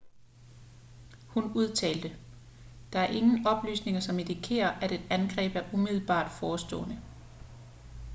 hun udtalte der er ingen oplysninger som indikerer at et angreb er umiddelbart forestående